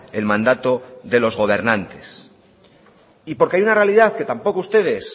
el mandato de los gobernantes y porque hay una realidad que tampoco ustedes